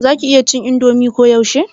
za ka /ki iya cin indomi ko yaushe?